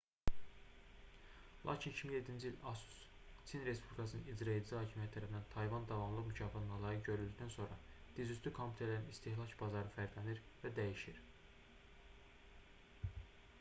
lakin 2007-ci ildə asus çin respublikasının i̇craedici hakimiyyəti tərəfindən tayvan davamlılıq mükafatına layiq görüldükdən sonra dizüstü kompüterlərin istehlak bazarı fərqlənir və dəyişir